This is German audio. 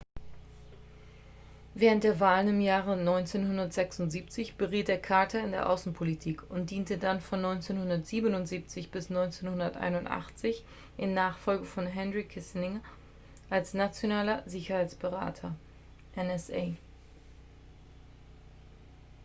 während der wahlen im jahre 1976 beriet er carter in der außenpolitik und diente dann von 1977 bis 1981 in nachfolge von henry kissinger als als nationaler sicherheitsberater nsa